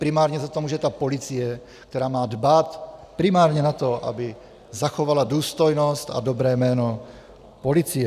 Primárně za to může ta policie, která má dbát primárně na to, aby zachovala důstojnost a dobré jméno policie.